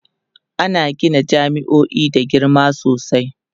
ana Gina jami'o'i da girma sosai